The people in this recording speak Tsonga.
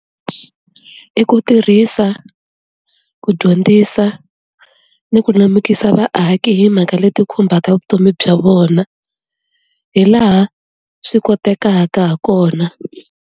I ku tirhisa ku dyondzisa ni ku lemukisa vaaki hi mhaka leti khumbaka vutomi bya vona hi laha swi kotekaka ha kona.